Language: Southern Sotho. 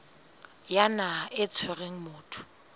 ya naha e tshwereng motho